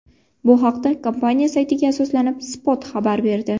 Bu haqda kompaniya saytiga asoslanib, Spot xabar berdi .